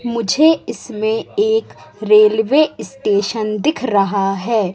मुझे इसमें एक रेलवे स्टेशन दिख रहा है।